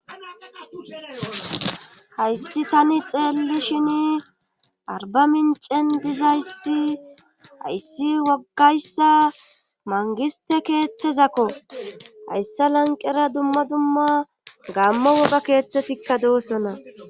hayssi tani xeelli shin arba mincen dizayssi hayssi wogayssa mangiste keeththezakko hayssa lanqera dumma dumma gaamma woga keeththetikka doossona